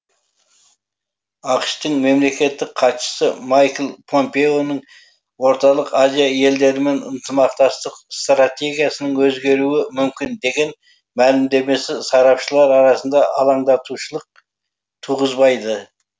ақш тың мемлекеттік хатшысы майкл помпеоның орталық азия елдерімен ынтымақтастық стратегиясының өзгеруі мүмкін деген мәлімдемесі сарапшылар арасында алаңдатушылық туғызбайды